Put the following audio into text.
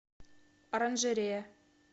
оранжерея